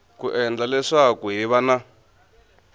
ku endla leswaku hiv na